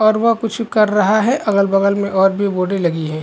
--और वह कुछ कर रहा है अगल बगल में और भी बोर्डे लगी हैं।